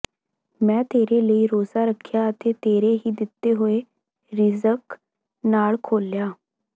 ਮੈਂ ਤੇਰੇ ਲਈ ਰੋਜ਼ਾ ਰੱਖਿਆ ਅਤੇ ਤੇਰੇ ਹੀ ਦਿੱਤੇ ਹੋਏ ਰਿਜ਼ਕ ਨਾਲ ਖੋਲ੍ਹਿਆ